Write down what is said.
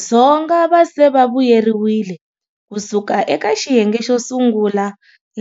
Dzonga va se va vuyeriwile ku suka eka xiyenge xo sungula,